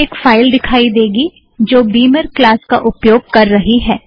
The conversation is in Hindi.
आप को एक फाइल दिखाई देगी जो बीमर क्लास का उपयोग कर रही है